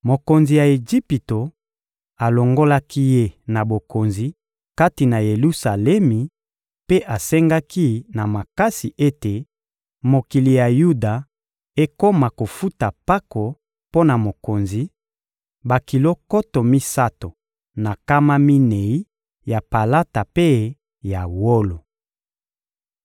Mokonzi ya Ejipito alongolaki ye na bokonzi kati na Yelusalemi mpe asengaki na makasi ete mokili ya Yuda ekoma kofuta mpako mpo na mokonzi: bakilo nkoto misato na nkama minei ya palata mpe ya wolo.